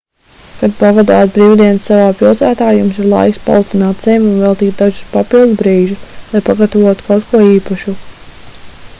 kad pavadāt brīvdienas savā pilsētā jums ir laiks palutināt sevi un veltīt dažus papildu brīžus lai pagatavotu kaut ko īpašu